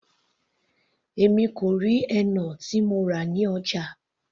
Èmi kò rí henna tí mo rà ní ọjà.